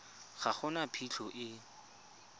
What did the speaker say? ga go na phitlho e